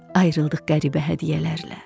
Ayrıldıq qəribə hədiyyələrlə.